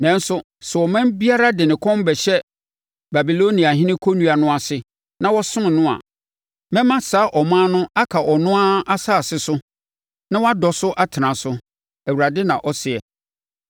Nanso, sɛ ɔman biara de ne kɔn bɛhyɛ Babiloniahene kɔnnua no ase na wasom no a, mɛma saa ɔman no aka ɔno ara asase so na wadɔ so atena so, Awurade, na ɔseɛ.’ ”